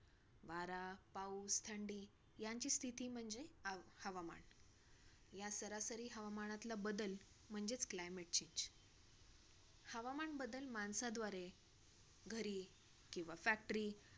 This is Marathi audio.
वारा, पाऊस, थंडी यांची स्थिती म्हणजे हव हवामन. ह्या सरासरी हवामानातलं बदल म्हणजेच climate change. हवामान बदल माणसाद्वारे घरी किंवा factory